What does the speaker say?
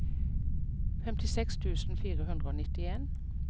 femtiseks tusen fire hundre og nittien